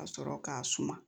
Ka sɔrɔ k'a suma